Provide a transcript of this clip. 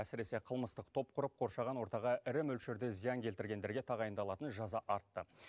әсіресе қылмыстық топ құрып қоршаған ортаға ірі мөлшерде зиян келтіргендерге тағайындалатын жаза артты